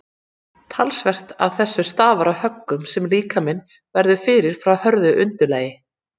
talsvert af þessu stafar af höggunum sem líkaminn verður fyrir frá hörðu undirlagi